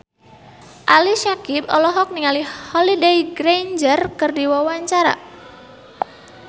Ali Syakieb olohok ningali Holliday Grainger keur diwawancara